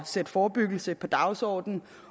sætte forebyggelse på dagsordenen